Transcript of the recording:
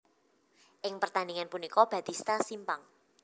Ing pertandingan punika Batista simpang